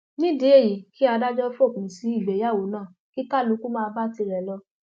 nídìí èyíi kí adájọ fòpin sí ìgbéyàwó náà kí kálukú máa bá tirẹ lọ